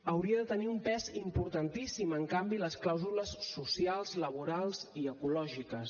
hauria de tenir un pes importantíssim en canvi les clàusules socials laborals i ecològiques